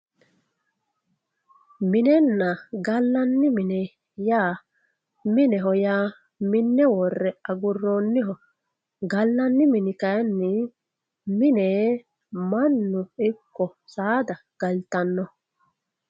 minenna gallanni mine yaa mineho yaa minne worre agurroonniho gallanni mine yaa mannu woye saada galtannoho